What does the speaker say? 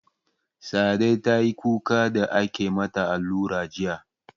Sa'ade tayi kuka da ake mata allura jiya